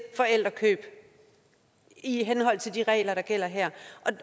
forældrekøb i henhold til de regler der gælder her